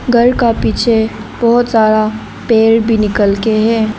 घर का पीछे बहोत सारा पेड़ भी निकल के हैं।